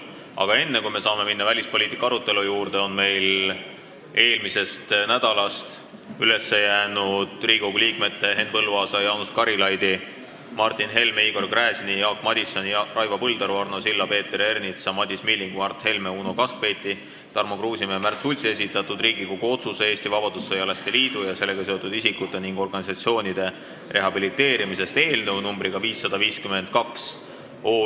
Aga enne, kui saame minna välispoliitika arutelu juurde, on meil eelmisest nädalast üles jäänud Riigikogu liikmete Henn Põlluaasa, Jaanus Karilaidi, Martin Helme, Igor Gräzini, Jaak Madisoni, Raivo Põldaru, Arno Silla, Peeter Ernitsa, Madis Millingu, Mart Helme, Uno Kaskpeiti, Tarmo Kruusimäe ja Märt Sultsi esitatud Riigikogu otsuse "Eesti Vabadussõjalaste Liidu ja sellega seotud isikute ning organisatsioonide rehabiliteerimisest" eelnõu numbriga 552.